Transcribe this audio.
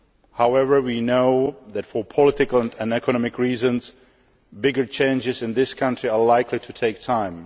However, we know that, for political and economic reasons, bigger changes in this country are likely to take time.